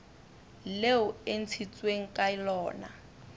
leo e ntshitsweng ka lona